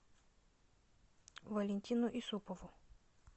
валентину исупову